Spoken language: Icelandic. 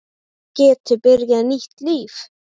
Geti byrjað nýtt líf.